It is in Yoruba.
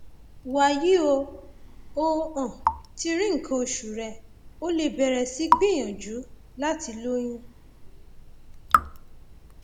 wàyí o o um ti rí nǹkan oṣù rẹ o lè bẹrẹ sí gbìyànjú láti lóyún